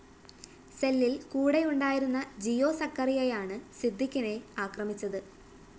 സെല്ലില്‍ കൂടെയുണ്ടായിരുന്ന ജിയോ സക്കറിയയാണ് സിദ്ദിഖിനെ ആക്രമിച്ചത്